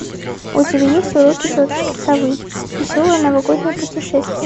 у тебя есть уроки тетушки совы веселое новогоднее путешествие